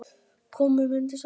Komum undir sængina.